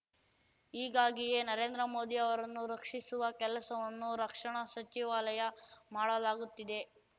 ಹೀಗಾಗಿಯೇ ನರೇಂದ್ರ ಮೋದಿ ಅವರನ್ನು ರಕ್ಷಿಸುವ ಕೆಲಸವನ್ನು ರಕ್ಷಣಾ ಸಚಿವಾಲಯ ಮಾಡಲಾಗುತ್ತಿದೆ